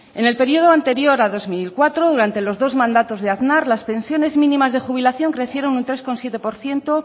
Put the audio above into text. en el periodo anterior a dos mil cuatro durante los dos mandatos de aznar las pensiones mínimas de jubilación crecieron un tres coma siete por ciento